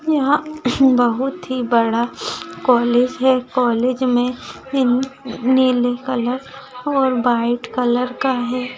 यहा बहुत ही बड़ा कॉलेज है कॉलेज मे इन नीले कलर और व्हाइट कलर का है।